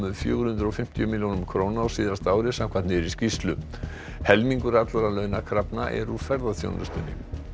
fjögur hundruð og fimmtíu milljónum króna á síðasta ári samkvæmt nýrri skýrslu helmingur allra launakrafna er úr ferðaþjónustunni